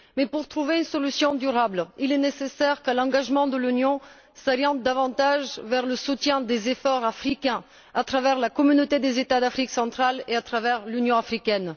Pour trouver une solution durable, il est nécessaire que l'engagement de l'Union s'oriente davantage vers le soutien des efforts africains à travers la Communauté des États d'Afrique centrale et à travers l'Union africaine.